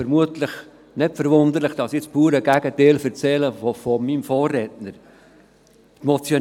Vermutlich ist es nicht verwunderlich, dass ich das pure Gegenteil dessen erzähle, was mein Vorredner gesagt hat.